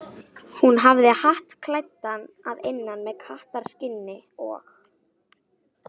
Hún hafði hatt klæddan að innan með kattarskinni og.